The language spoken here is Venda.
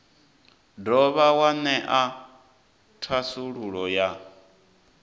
dovha wa ṅea thasululo ya